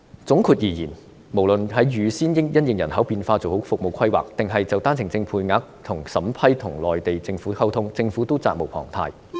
總括而言，無論是預先因應人口變化做好服務規劃，還是就單程證的配額和審批跟內地政府溝通，政府也是責無旁貸的。